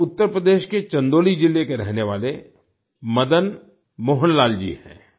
ये उत्तर प्रदेश के चंदौली जिले के रहने वाले मदन मोहन लाल जी हैं